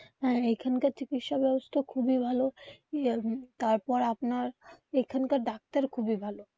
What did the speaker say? হ্যাঁ এখানকার চিকিৎসা ব্যবস্থা খুবই ভালো. তারপর আপনার এখানকার ডাক্তার খুবই ভালো.